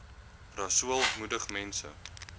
rasool moedig mense